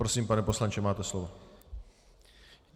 Prosím, pane poslanče, máte slovo.